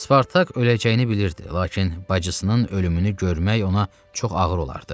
Spartak öləcəyini bilirdi, lakin bacısının ölümünü görmək ona çox ağır olardı.